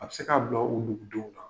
A be se k'a bila o dugu denw kan.